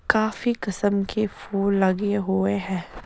काफी किस्म के फूल लगे हुए है।